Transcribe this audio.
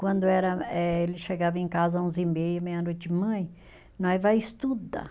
Quando era eh, ele chegava em casa, onze e meia, meia-noite, mãe, nós vai estudar.